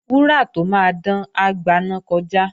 Wúrà tó máa dán, á gbaná kọjá